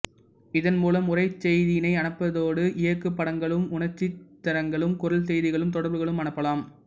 இதன் மூலம் உரை செய்திகளை அனுப்பதோடு இயக்குபடங்களும் உணர்ச்சித்திரங்களும் குரல் செய்திகளும் தொடர்புகளும் அனுப்பலாம்